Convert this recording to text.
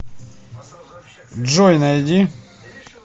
джой найди